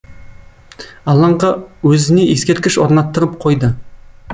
алаңға өзіне ескерткіш орнаттырып қойды